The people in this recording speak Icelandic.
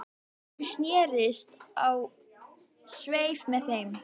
Hún snerist á sveif með þeim